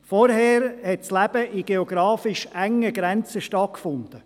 Zuvor hatte das Leben in geografisch engen Grenzen stattgefunden.